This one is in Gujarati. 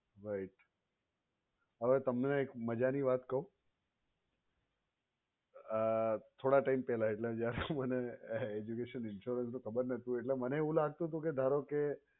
right હવે તમને એક મજાની વાત કહું થોડા time પેહલા એટલે જ્યારે મને education insurance નું ખબર નો હતું એટલા માટે મને એવું લાગતું હતું કે ધારો કે